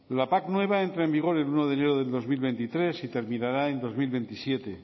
la pac nueva entra en vigor el uno de enero del dos mil veintitrés y terminará en dos mil veintisiete